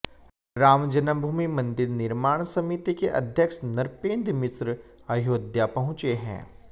राम जन्मभूमि मंदिर निर्माण समिति के अध्यक्ष नृपेंद्र मिश्र अयोध्या पहुंचे हैं